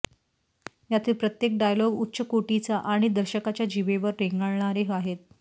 यातील प्रत्येक डायलॉग उच्च कोटीचा आणि दर्शकांच्या जीभेवर रेंगाळणारे आहेत